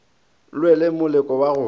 lwe le moleko wa go